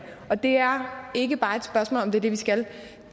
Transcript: og det er ikke bare et spørgsmål om at det er det vi skal